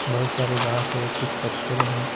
बहुत सारे घास है कुछ पत्थरे है ।